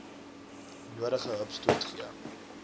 nodige hupstoot gee